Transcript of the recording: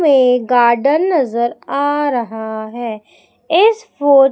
एक गार्डन नजर आ रहा है इस फो--